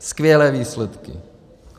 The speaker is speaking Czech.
Skvělé výsledky.